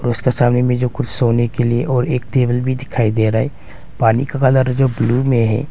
उसके सामने में जो कुछ सोने के लिए और एक टेबल भी दिखाई दे रहा है पानी का कलर जो ब्लू में है।